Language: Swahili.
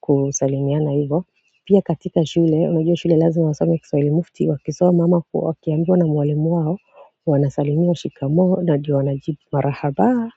kusalimiana hivo pia katika shule unajua shule lazima wasome kiswahili mufti wakisoma ama wakiambiwa na mwalimu wao wanasalimia shikamoo na ndio wanajibu marahaba Sampai.